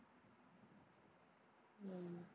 உம்